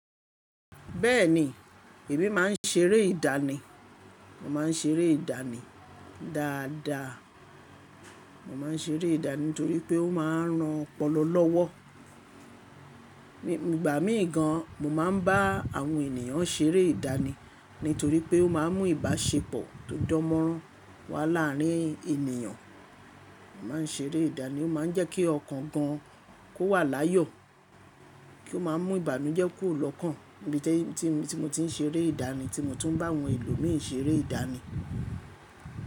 Bẹ́ẹ̀ni, èmi má n ṣeré ìdáàni, mo má n ṣeré ìdáàni dáadáa. Mo má n ṣeré ìdáàni nítorí pé ó ma ran ọpọlọ lọ́wọ́. Ní ìgbà mii gan mo má n bá àwọn ènìyàn ṣeré ìdáàni nítorí pé ó ma mú ìbáṣepọ̀ tó dánmọ́rán wá láàrin ènìyàn. Mo má n ṣeré ìdáàni, ó ma n jẹ́ kí ọkàn gan kó wà láyọ̀, kí ó ma mú ìbànújẹ́ kù lọ́kàn níbi tí mo ti n ṣeré ìdáàni tí mo tún n bá àwọn ẹlòmíì ṣeré ìdáàni.